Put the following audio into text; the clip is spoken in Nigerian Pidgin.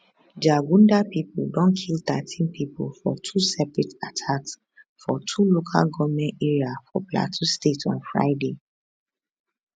jagunda pipo don kill thirteen pipo for two separate attacks for two local goment area for plateau state on friday